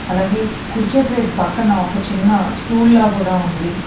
అలాగే కుడి చేతి వైపు పక్కన ఒక చిన్న స్టూల్లా కూడా ఉంది.